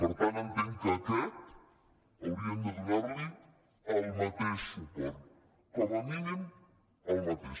per tant entenc que a aquest haurien de donar hi el mateix suport com a mínim el mateix